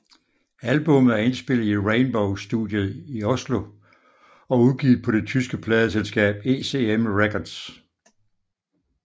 Albummet er indspillet i Rainbow Studiet i Oslo og udgivet på det tyske pladeselskab ECM Records